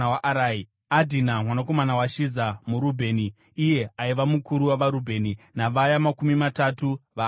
Adhina mwanakomana waShiza muRubheni iye aiva mukuru wavaRubheni, navaya makumi matatu, vaaiva navo,